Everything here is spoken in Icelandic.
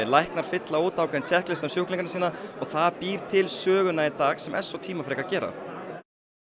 læknar fylla út ákveðinn tékklista um sjúklingana sína og það býr til söguna í dag sem er svo tímafrekt að gera